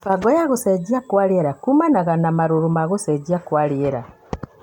Mĩbango ya gũcenjia kwa rĩera: Kũmana na marũrũ ma gũcenjia kwa rĩera,